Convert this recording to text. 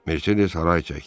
Mercedes haray çəkdi.